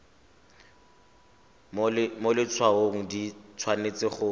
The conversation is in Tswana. mo letshwaong di tshwanetse go